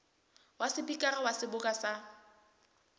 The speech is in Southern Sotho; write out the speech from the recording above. wa sepikara wa seboka sa